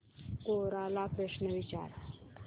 कोरा ला प्रश्न विचार